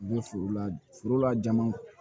U bɛ foro la forola jama